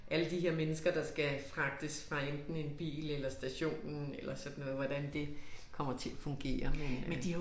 Alle de her mennesker der skal fragtes enten fra en bil eller stationen eller sådan noget hvordan det kommer til at fungere men øh